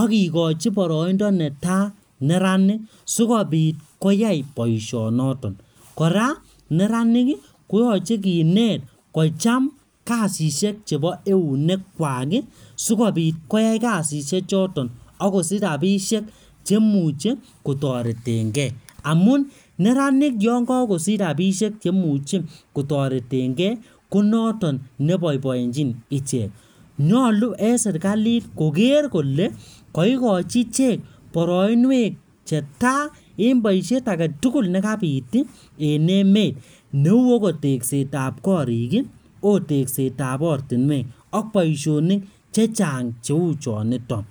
akikochi boroindo netai neranik. Sikobit koyai boisot noton. Kora neranik, koyache kinet kocham kasishek chebo eunek kwak, sikobit koyai kasishek choton, akosich rabisek chemuchen kotoretenkey. Amun neranik yakan kosich rabisiek chemuchi kotoretenkey, ko notok ne boiboichin ichek. Nyolu en serikalit koker kole, kaikochi ichek boroinwek che tai, en boisiet age tugul ne kabit en emet. Neo ko tegset ap korik, ko tekset ap ortinwek, ak boisonik chechang' cheu choniton.